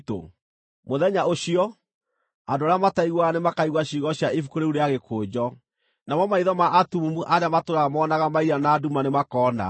Mũthenya ũcio, andũ arĩa mataiguaga nĩmakaigua ciugo cia ibuku rĩu rĩa gĩkũnjo, namo maitho ma atumumu arĩa matũũraga moonaga mairia na nduma nĩmakona.